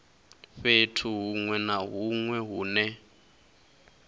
fhethu huṅwe na huṅwe hune